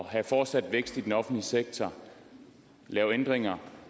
have fortsat vækst i den offentlige sektor lave ændringer